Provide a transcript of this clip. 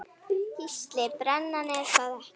Gísli:. brennan er það ekki?